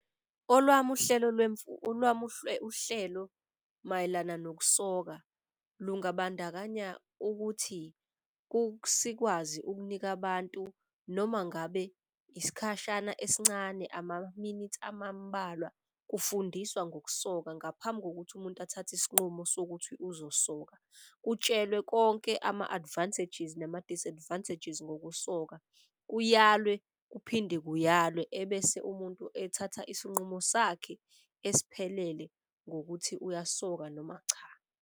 Olwami uhlelo olwami uhlelo mayelana nokusoka lungabandakanya ukuthi sikwazi ukunika abantu noma ngabe isikhashana esincane, amaminithi amubalwa kufundiswa ngokusoka ngaphambi kokuthi umuntu athathe isinqumo sokuthi uzosoka. Utshelwe konke ama-advantages nama-disadvantages ngokusoka, kuyalwe kuphinde kuyalwe. Ebese umuntu ethatha isinqumo sakhe esiphelele ngokuthi uyasoka noma cha.